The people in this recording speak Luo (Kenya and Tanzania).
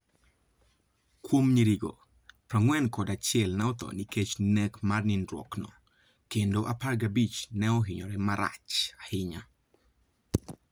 Kuom nyirigo, 41 ne otho nikech nek mar nindruokno, kendo 15 ne ohinyo marach ahinya.